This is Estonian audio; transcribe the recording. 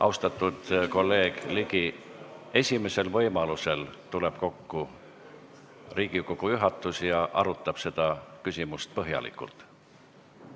Austatud kolleeg Ligi, esimesel võimalusel tuleb kokku Riigikogu juhatus ja arutab seda küsimust põhjalikult.